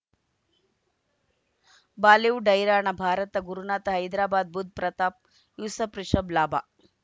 Bollywood ಹೈರಾಣ ಭಾರತ ಗುರುನಾಥ ಹೈದರಾಬಾದ್ ಬುಧ್ ಪ್ರತಾಪ್ ಯೂಸುಫ್ ರಿಷಬ್ ಲಾಭ